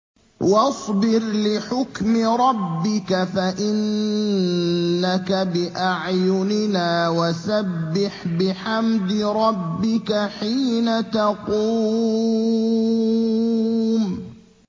وَاصْبِرْ لِحُكْمِ رَبِّكَ فَإِنَّكَ بِأَعْيُنِنَا ۖ وَسَبِّحْ بِحَمْدِ رَبِّكَ حِينَ تَقُومُ